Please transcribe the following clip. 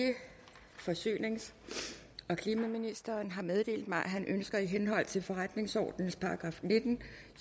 forsynings og klimaministeren har meddelt mig at han ønsker i henhold til forretningsordenens § nitten